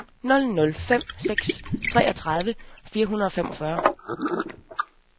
nul nul fem seks treogtredive fire hundrede og femogfyrre